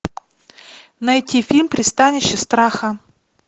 найти фильм пристанище страха